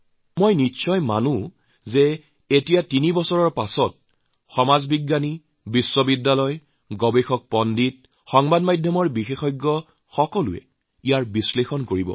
মই অৱশ্যে মানি লওঁ যে এই তিনি বছৰৰ পাছত সমাজ বিজ্ঞানী বিশ্ববিদ্যালয় গৱেষক বিশেষজ্ঞ সাংবাদিকে নিশ্চয় ইয়াৰ বিশ্লেষণ কৰিব